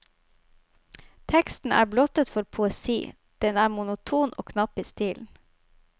Teksten er blottet for poesi, den er monoton og knapp i stilen.